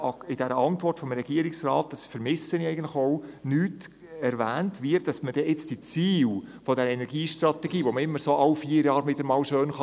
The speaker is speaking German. In der Antwort des Regierungsrats wird nicht erwähnt, wie die Ziele der Energiestrategie nun wirklich auch erreicht werden können.